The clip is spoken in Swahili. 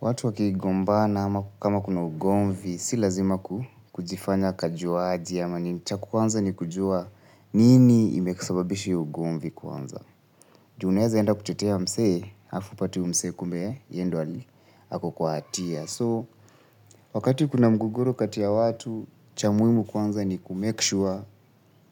Watu wakigombana ama kama kuna ugomvi, si lazima kujifanya kajuaji ama nini cha kwanza ni kujua nini imesababisha hiyo ugomvi kwanza ju unaeza enda kutetea msee, hafu upate uyu msee kumbe, yendo ali, ako kwa hatia. So, wakati kuna mgogoro kati ya watu, cha muhimu kwanza ni kumekishua